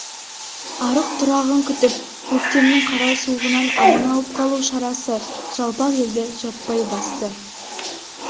арық-тұрағын күтіп көктемнің қара суығынан аман алып қалу шарасы жалпақ елді жаппай басты